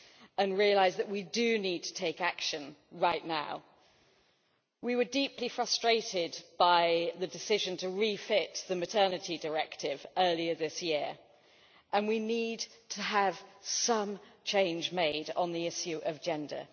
and realise that we do need to take action right now. We were deeply frustrated by the decision to refit the Maternity Directive earlier this year, and we need to have some change made on the issue of gender.